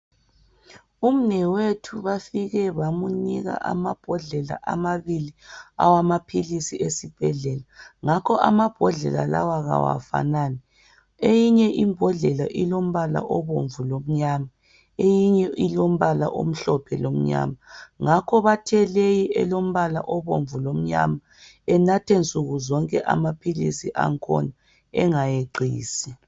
Umnewethu bafike bamnika amabhodlela amabili awamaphilizi esibhedlela. Ngakho amabhodlela lawa awafanani, eyinye imbodlela ilombala obomvu lomnyama eyinye ilombala omhlophe lomnyama. Ngakho bathe leyi elombala obomvu lomnyama enathe nsukuzonke amaphilizi angikhona engayeqisi.